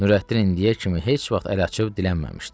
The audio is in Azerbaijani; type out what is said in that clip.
Nurəddin indiyə kimi heç vaxt əl açıb dilənməmişdi.